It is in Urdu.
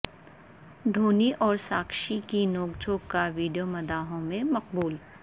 دھونی اور ساکشی کی نوک جھونک کا ویڈیو مداحوں میں مقبول